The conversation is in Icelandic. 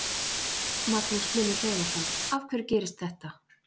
Magnús Hlynur Hreiðarsson: Af hverju gerist þetta?